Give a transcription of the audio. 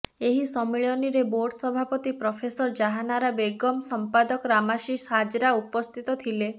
ଏହି ସମ୍ମିଳନୀରେ ବୋର୍ଡ ସଭାପତି ପ୍ରଫେସର ଜାହାଁନାରା ବେଗମ୍ ସଂପାଦକ ରମାଶିଷ ହାଜରା ଉପସ୍ଥିତ ଥିଲେ